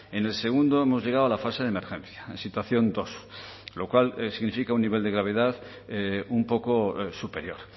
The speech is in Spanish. en el segundo hemos llegado a la fase de emergencia situación dos lo cual significa un nivel de gravedad un poco superior